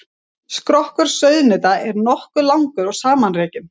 Skrokkur sauðnauta er nokkuð langur og samanrekin.